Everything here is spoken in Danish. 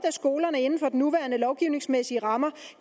at skolerne inden for de nuværende lovgivningsmæssige rammer